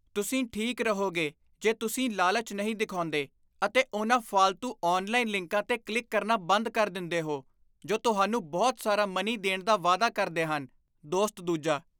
ਤੁਸੀਂ ਠੀਕ ਰਹੋਗੇ ਜੇ ਤੁਸੀਂ ਲਾਲਚ ਨਹੀਂ ਦਿਖਾਉਂਦੇ ਅਤੇ ਉਹਨਾਂ ਫਾਲਤੂ ਔਨਲਾਈਨ ਲਿੰਕਾਂ 'ਤੇ ਕਲਿੱਕ ਕਰਨਾ ਬੰਦ ਕਰ ਦਿੰਦੇਹੋ ਜੋ ਤੁਹਾਨੂੰ ਬਹੁਤ ਸਾਰਾ ਮਨੀ ਦੇਣ ਦਾ ਵਾਅਦਾ ਕਰਦੇ ਹਨ ਦੋਸਤ ਦੂਜਾ